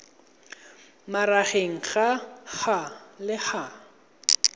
magareng ga h le h